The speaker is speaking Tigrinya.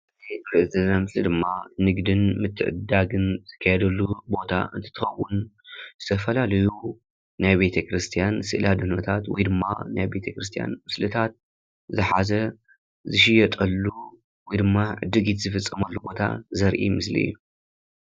እዚ ምስሊ ድማ ንግድን ምትዕድዳግን ዝካየደሉ ቦታ እንትትኾውን ዝተፈላለዩ ናይ ቤተክርስትያን ስእሊ ኣድህኖታት ወይ ድማ ናይ ቤተክርስትያን ምስልታት ዝሓዘ ዝሽየጠሉ ወይድማ ዕድጊት ዝፍፀመሉ ቦታ ዘረኢ ምስሊ እዩ።